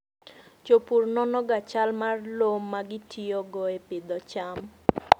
Jopur nonoga chal mar lowo ma gitiyogo e pidho cham.